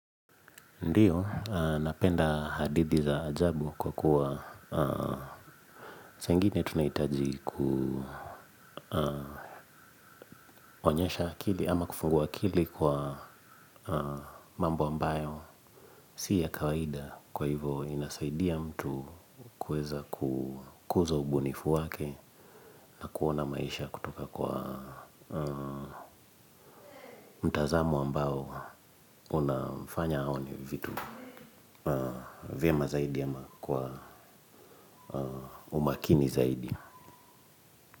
Ndiyo, napenda hadithi za ajabu kwa kuwa chengine tunaitaji kuonyesha akili ama kufungua akili kwa mambo ambayo si ya kawaida kwa hivyo inasaidia mtu kuweza kukuza ubunifu wake na kuona maisha kutoka kwa mtazamo ambao unamfanya aone vitu. Vema zaidi ama kwa umakini zaidi.